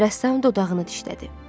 Rəssam dodağını dişlədi.